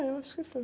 É, eu acho que sim.